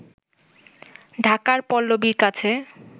ঢাকার পল্লবীর কাছে